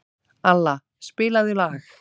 Alla, spilaðu lag.